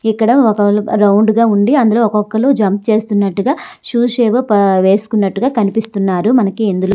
ఇక్కడ ఒక్క రౌండ్ లాగా ఉండే అందరు అందులో జంపు చేస్తున్నట్టుగా షూ వేసుకున్నట్టుగా కనిపిస్తున్నారు మనకి ఇందులో.